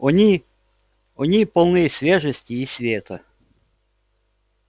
они они полны свежести и света